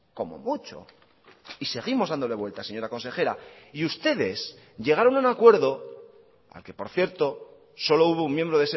como mucho y seguimos dándole vueltas señora consejera y ustedes llegaron a un acuerdo al que por cierto solo hubo un miembro